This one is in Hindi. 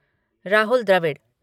राहुल द्रविड़